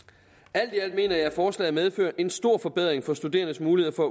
alt i alt mener jeg at forslaget medfører en stor forbedring for studerendes mulighed for